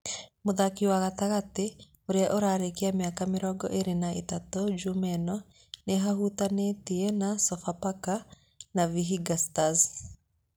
Mũthaki wa gatagatĩ ũrĩa ũrarĩkia mĩaka mĩrongo ĩrĩ na ĩtatũ, Jumaa ĩno, nĩ ahutanĩtie na Sofapaka na Vihiga Stars.